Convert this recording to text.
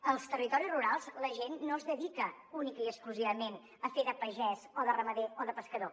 als territoris rurals la gent no es dedica únicament i exclusivament a fer de pagès o de ramader o de pescador